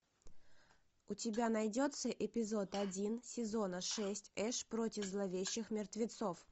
у тебя найдется эпизод один сезона шесть эш против зловещих мертвецов